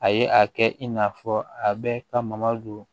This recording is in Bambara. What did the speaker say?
A ye a kɛ i n'a fɔ a bɛ ka maga don